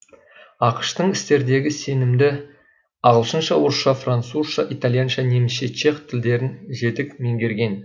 ақш тың істердегі сенімді ағылшынша орысша французша итальянша немісше чех тілдерін жетік менгерген